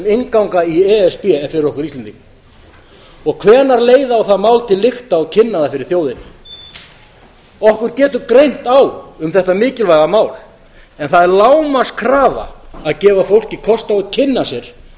innganga í e s b er fyrir okkur íslendinga og hvenær leiða á það mál til lykta og kynna það fyrir þjóðinni okkur getur greint á um þetta mikilvæga mál en það er lágmarkskrafa að gefa fólki kost á að kynna sér